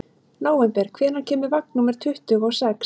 Nóvember, hvenær kemur vagn númer tuttugu og sex?